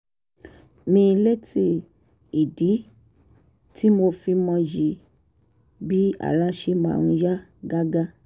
mi létí ìdí tí mo fi mọyì bí ara ṣe máa ń yá gágá